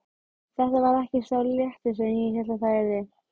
Þetta varð ekki sá léttir sem ég hélt það yrði.